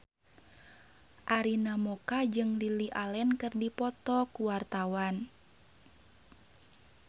Arina Mocca jeung Lily Allen keur dipoto ku wartawan